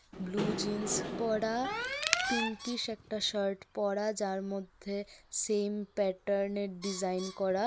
Blue jeans পরা pinkish একটা shirt পড়া যার মধ্যে সেম প্যাটার্নের ডিজাইন করা.